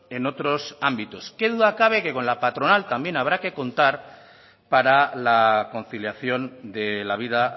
en otros ámbitos qué duda cabe que con la patronal también habrá que contar para la conciliación de la vida